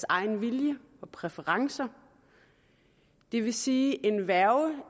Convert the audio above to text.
egen vilje og præferencer det vil sige at en værge